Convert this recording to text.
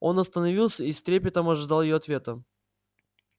он остановился и с трепетом ожидал её ответа